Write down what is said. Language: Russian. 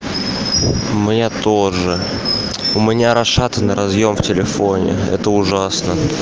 моя тоже у меня расшатан разъём в телефоне это ужасно